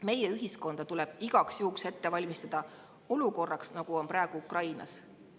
Meie ühiskonda tuleb igaks juhuks ette valmistada selliseks olukorraks, nagu on praegu Ukrainas.